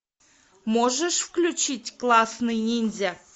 можешь включить классный ниндзя